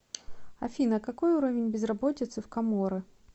афина какой уровень безработицы в коморы